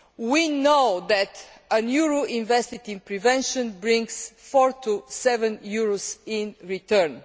We know that a euro invested in prevention brings four to seven euros in return.